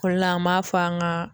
O la an m'a fɔ an gaa